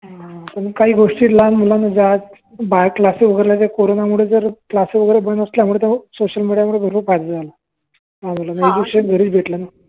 अजुन काही गोष्टी लहान मुलांना ज्या आज Class वगैरे Corona मुळे बंद असल्यामुळे सोशल मेडिया मुळे भरपूर फायदा झाला